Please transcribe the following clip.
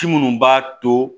Ci minnu b'a to